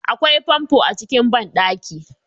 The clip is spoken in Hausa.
Akwai famfo a cikin banɗaki